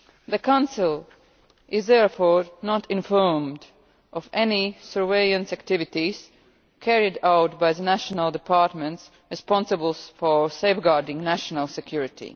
The Council is therefore not informed of any surveillance activities carried out by the national departments responsible for safeguarding national security.